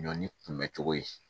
Ɲɔ ni kunbɛcogo ye